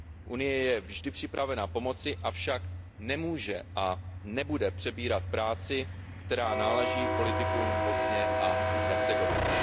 Unie je vždy připravena pomoci, avšak nemůže a nebude přebírat práci, která náleží politikům v Bosně a Hercegovině.